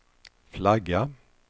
flagga